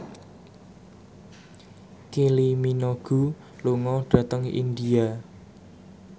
Kylie Minogue lunga dhateng India